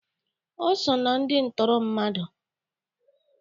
O so na ndi ntụrụ mmadụ?